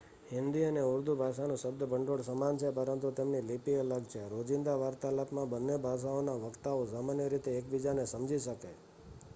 હિન્દી અને ઉર્દૂ ભાષાનું શબ્દભંડોળ સમાન છે પરંતુ તેમની લિપિ અલગ છે રોજિંદા વાર્તાલાપમાં બંને ભાષાઓના વક્તાઓ સામાન્ય રીતે એકબીજાને સમજી શકે